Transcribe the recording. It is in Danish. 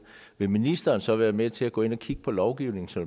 vil ministeren så være med til at gå ind og kigge på lovgivningen så